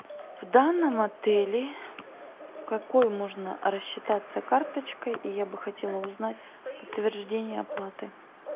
в данном отеле какой можно рассчитаться карточкой и я бы хотела узнать подтверждение оплаты